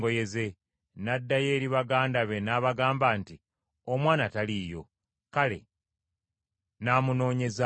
n’addayo eri baganda be n’abagamba nti, “Omwana taliiyo. Kale naamunoonyeza wa?”